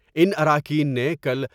ان اراکین نے کل